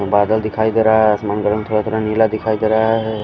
बादल दिखाई दे रहा है आसमान थोड़ा-थोड़ा नीला दिखाई दे रहा है।